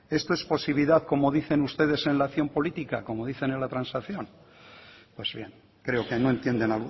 esto es posibilidad como dicen ustedes en la acción política como dicen en la transacción pues bien creo que no entienden